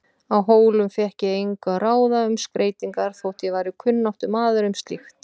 Á Hólum fékk ég engu að ráða um skreytingar þótt ég væri kunnáttumaður um slíkt.